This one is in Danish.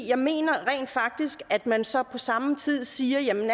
jeg mener rent faktisk at man så på samme tid siger jamen